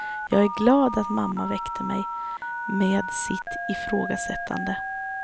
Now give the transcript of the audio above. Jag är glad att mamma väckte mig, med sitt ifrågasättande.